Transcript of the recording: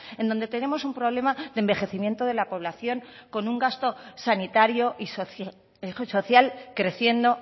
en donde tenemos un problema de envejecimiento de la población con un gasto sanitario y social creciendo